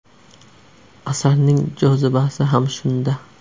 Asarning jozibasi ham shunda.